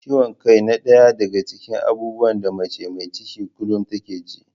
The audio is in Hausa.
Ciwon kai na ɗaya daga cikin abubuwan da mace mai ciki kullum take ji.